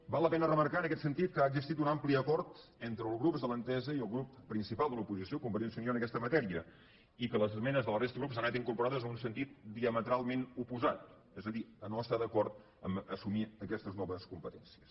val la pena remarcar en aquest sentit que ha existit un ampli acord entre els grups de l’entesa i el grup principal de l’oposició convergència i unió en aquesta matèria i que les esmenes de la resta de grups han anat incorporades en un sentit diametralment oposat és a dir a no estar d’acord a assumir aquestes noves competències